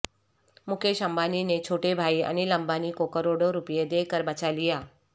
مکیش امبانی نے چھوٹے بھائی انل امبانی کو کروڑوں روپے دے کر بچا لیا